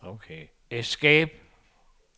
escape